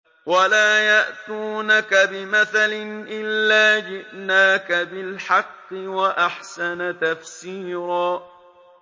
وَلَا يَأْتُونَكَ بِمَثَلٍ إِلَّا جِئْنَاكَ بِالْحَقِّ وَأَحْسَنَ تَفْسِيرًا